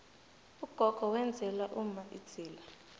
ugogo wenzela umma idzila